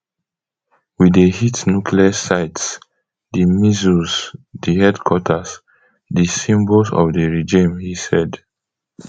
we dey hit nuclear sites di missiles di headquarters di symbols of the regime he said